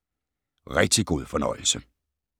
Rigtig god fornøjelse